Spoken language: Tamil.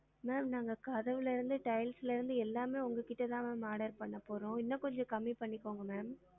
Ma'am நாங்க கதவுல இருந்து tiles ல இருந்து எல்லாமே உங்க கிட்ட தான் ma'am order பண்ண போறோம் இன்னும் கொஞ்சம் கம்மி பண்ணிகோங்க ma'am